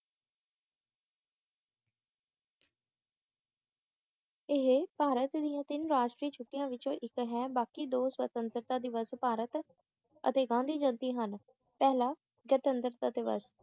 ਇਹ ਭਾਰਤ ਦੀਆਂ ਤਿੰਨ ਰਿਸ਼ਟਰੀ ਛੁੱਟੀਆਂ ਵਿੱਚੋਂ ਇੱਕ ਹੈ ਬਾਕੀ ਦੋ ਸੁਤੰਤਰਤਾ ਦਿਵਸ ਭਾਰਤ ਅਤੇ ਗਾਂਧੀ ਜਿਯੰਤੀ ਹਨ ਪਹਿਲਾ ਗਣਤੰਤਰਤਾ ਦਿਵਸ